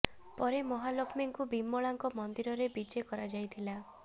ପରେ ମହାଲକ୍ଷ୍ମୀ ଙ୍କୁ ବିମଳା ଙ୍କ ମନ୍ଦିର ରେ ବିଜେ କରାଯାଇଥିଲା